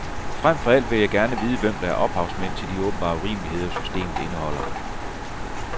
Frem for alt vil jeg gerne vide, hvem der er ophavsmænd til de åbenbare urimeligheder, systemet indeholder.